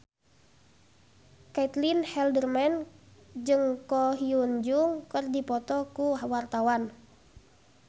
Caitlin Halderman jeung Ko Hyun Jung keur dipoto ku wartawan